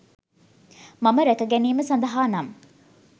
මම රැක ගැනීම සඳහානම්